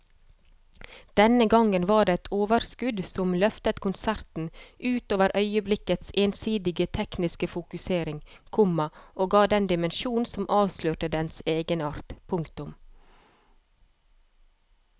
Denne gangen var det et overskudd som løftet konserten ut over øyeblikkets ensidige tekniske fokusering, komma og ga den dimensjonen som avslørte dens egenart. punktum